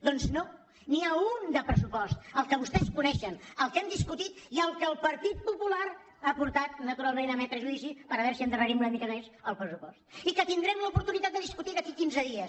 doncs no n’hi ha un de pressupost el que vostès coneixen el que hem discutit i el que el partit popular ha portat naturalment a emetre judici per a veure si endarrerim una mica més el pressupost i que tindrem l’oportunitat de discutir d’aquí a quinze dies